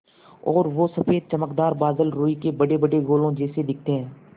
और वो सफ़ेद चमकदार बादल रूई के बड़ेबड़े गोलों जैसे दिखते हैं